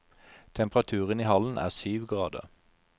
Temperaturen i hallen er syv grader.